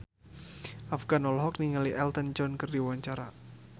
Afgan olohok ningali Elton John keur diwawancara